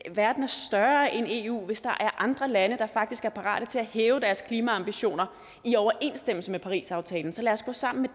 at verden er større end eu hvis der er andre lande der faktisk er parate til at hæve deres klimaambitioner i overensstemmelse med parisaftalen så lad os gå sammen med